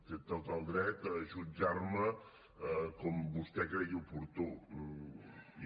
té tot el dret a jutjar me com vostè cregui oportú i